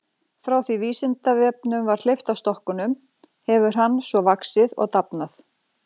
Frá því að Vísindavefnum var hleypt af stokkunum hefur hann svo vaxið og dafnað.